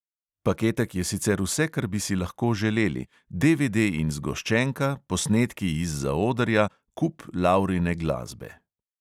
Paketek je sicer vse, kar bi si lahko želeli, DVD in zgoščenka, posnetki iz zaodrja, kup laurine glasbe.